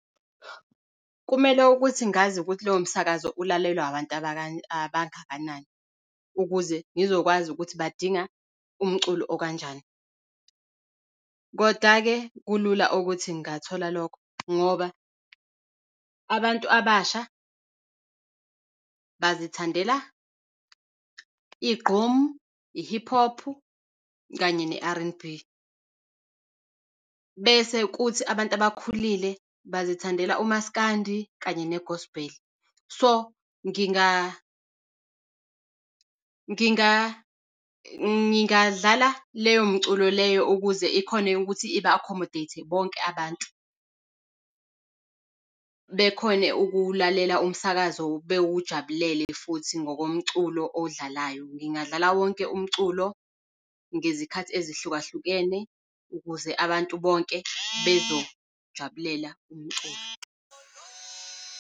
Kumele ukuthi ngazi ukuthi lowo msakazo ulalelwa abantu abangakanani ukuze ngizokwazi ukuthi badinga umculo okanjani. Kodwa-ke kulula ukuthi ngingathola lokho ngoba abantu abasha bazithandela iGqom, i-Hip Hop, kanye ne-R_N_B. Bese kuthi abantu abakhulile bazithandela uMaskandi kanye ne-Gospel. So ngingadlala leyo mculo leyo ukuze ikhone ukuthi iba-accommodate-e bonke abantu. Bekhone ukuwulalela umsakazo bewujabulele futhi ngokomculo odlalayo. Ngingadlala wonke umculo ngezikhathi ezihluka hlukene ukuze abantu bonke bezojabulela umculo.